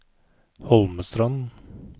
Holmestrand